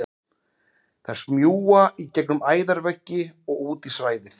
Þær smjúga í gegnum æðaveggi og út í svæðið.